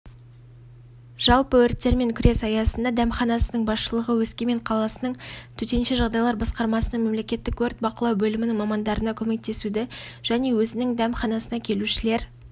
жалпы өрттермен күрес аясында дәмханасының басшылығы өскемен қаласының төтенше жағдайлар басқармасының мемлекеттік өрт бақылау бөлімінің мамандарына көмектесуді және өзінің дәмханасына келушілер